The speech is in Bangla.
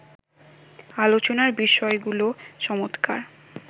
আলোচনার বিষয়গুলো চমৎকার